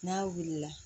N'a wulila